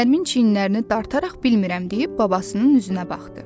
Nərmin çiyinlərini dartaraq bilmirəm deyib babasının üzünə baxdı.